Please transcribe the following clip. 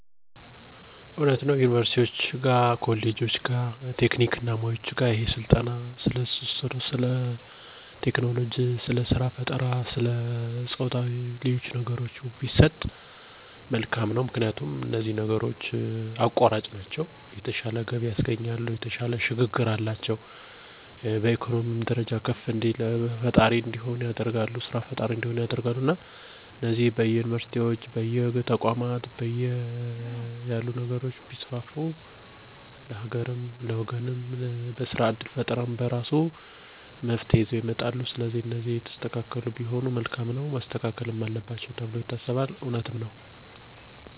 እኔ በትምህርት ቤት ውስጥ ተማሪዎች በስፋት እንዲማሩ የምፈልጋቸው ክህሎቶች እና ተግባራዊ እውቀቶች ብዙ ናቸው። ለምሳሌ የህይወት ክህሎቶች እና የቴክኖሎጂ እውቀቶች፣ ስለ ጾታዊ ፈተናዎች እና የሚያመጡአቸው ጉዳቶች፣ ስለ ስራ ፈጠራ ቢማሩ ለተማሪዎች የወደፊት ስኬት እና ለግል እድገት አስፈላጊ ናቸው ብየ አምናለሁ። ምክንያቱም፣ እነዚህ ነገሮች ተማሪዎችን ወደፊት በየትኛው ዘርፍ ቢሰማሩ የተሻለ እድገት እንደሚያገኙ ቀድመው እንዲወስኑ ይረዳቸዋል፣ ራሳቸውን በወጣትነት ስሜት አደጋ ላይ እንዳይጥሉ ያግዛቸዋል፣ ከተመረቁ በኃላ መንግስትን ከመጠበቅ ይልቅ በራሳቸው ስራ ፈጥረው ይሰራሉ ,ይህ ደግሞ ለራስም ለሀገርም ይጠቅማል።